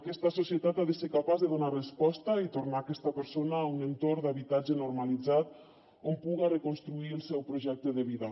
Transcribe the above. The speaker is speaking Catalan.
aquesta societat ha de ser capaç de donar resposta i tornar aquesta persona a un entorn d’habitatge normalitzat on puga reconstruir el seu projecte de vida